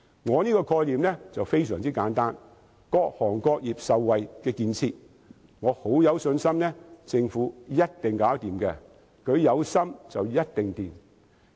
我這個概念非常簡單，是各行各業均能受惠的建設，我很有信心，政府一定做得到，只要有心，便一定會成功。